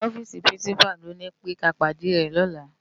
Inú òfisi pirinsipá ló ni pé ká pádé è lòlá